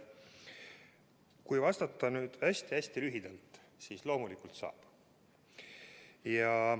Kui vastata hästi lühidalt, siis loomulikult saab.